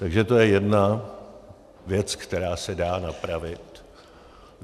Takže to je jedna věc, která se dá napravit.